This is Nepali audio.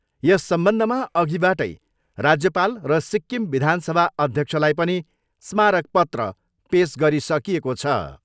यस सम्बन्धमा अघिबाटै राज्यपाल र सिक्किम विधानसभा अध्यक्षलाई पनि स्मारक पत्र पेस गरिसकिएको छ।